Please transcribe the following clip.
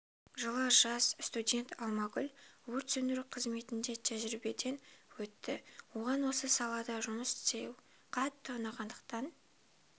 жылы жас студент алмагүл өрт сөндіру қызметінде тәжірибеден өтті оған осы салада жұмыс істеу қатты ұнағандықтан